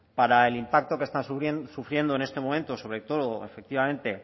para el impacto que están sufriendo en este momento sobre todo efectivamente